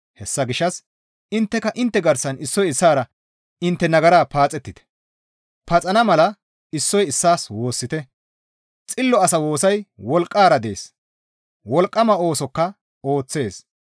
Hessa gishshas intteka intte garsan issoy issaara intte nagara paaxettite; paxana mala issoy issaas woossite; xillo asa woosay wolqqara dees; wolqqama oosokka ooththees.